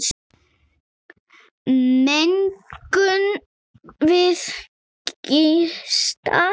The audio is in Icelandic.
Megum við gista?